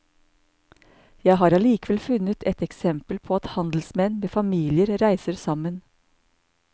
Jeg har allikevel funnet et eksempel på at handelsmenn med familier reiser sammen.